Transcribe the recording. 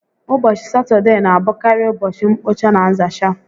Ụbọchị Satọdee na abụkarị ụbọchị mkpocha na nzacha